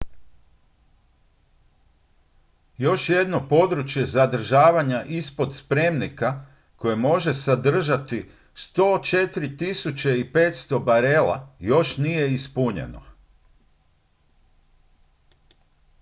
još jedno područje zadržavanja ispod spremnika koje može zadržati 104.500 barela još nije ispunjeno